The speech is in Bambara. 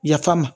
Yafa ma